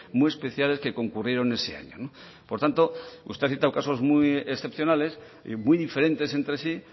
muy especiales que concurrieron ese año por tanto usted ha citado casos muy excepcionales y muy diferentes entre sí